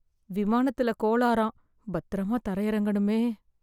விமானத்துல கோளாறாம், பத்திரமா தரை இறங்கணுமே?